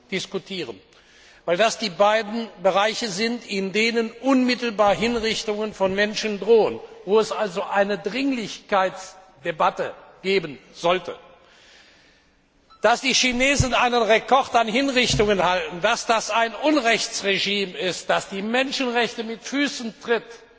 diskutieren, weil das die beiden Länder sind, in denen unmittelbar Hinrichtungen von Menschen drohen, wo es also eine Dringlichkeitsdebatte geben sollte. Dass die Chinesen einen Rekord an Hinrichtungen halten, dass das ein Unrechtsregime ist, das die Menschenrechte mit Füßen tritt